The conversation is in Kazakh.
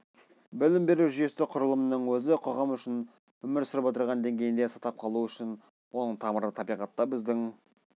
білім беру жүйесі құрылымының өзі қоғам үшін өмір сүріп отырған деңгейінде сақтап қалу үшін оның тамыры табиғатта біздің